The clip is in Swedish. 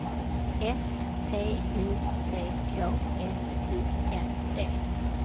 S T O C K S U N D